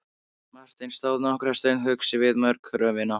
Marteinn stóð nokkra stund hugsi við mógröfina.